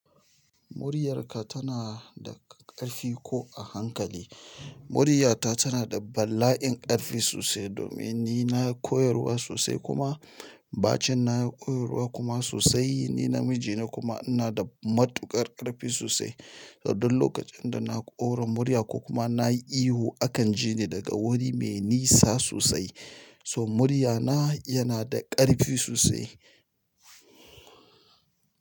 Muryarka tana da ƙarfi ko a hankali? Muryata tana da bala'in ƙarfi sosai domin ni nayi koyarwa sosai kuma bacin nayi koyarwa kuma sosai. Ni namiji ne kuma ina da matuƙar ƙarfi sosai. Idan lokacin da na ƙora murya ko kuma na yi ihu akan ji ni daga wuri mai nisa sosai. So muryana yana da ƙarfi sosai.